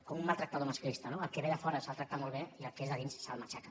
com un maltractador masclista no el que ve de fora se’l tracta molt bé i el que és de dins se’l matxaca